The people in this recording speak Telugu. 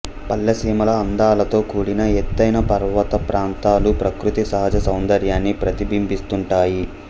పల్లెసీమల అందాలతో కూడిన ఎత్తైన పర్వతప్రాంతాలు ప్రకృతి సహజ సౌందర్యాన్ని ప్రతిబింబిస్తుంటాయి